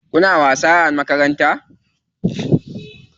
Kuna wasa a makaranta?